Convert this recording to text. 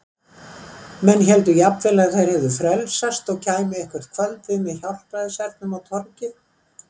Menn héldu jafnvel að þau hefðu frelsast og kæmu eitthvert kvöldið með hjálpræðishernum á torgið.